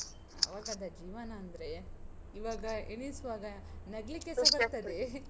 ಆವಾಗದ ಜೀವನ ಅಂದ್ರೆ, ಈವಾಗ ಎಣಿಸುವಾಗ ನಗ್ಲಿಕ್ಕೆಸ ಆಗ್ತದೆ.